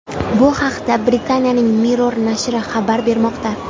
Bu haqda Britaniyaning Mirror nashri xabar bermoqda .